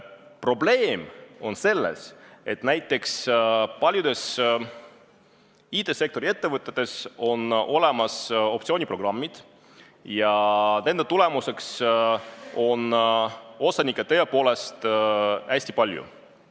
Probleem on selles, et näiteks paljudes IT-sektori ettevõtetes on olemas optsiooniprogrammid ja nende tulemusena on osanikke tõepoolest hästi palju.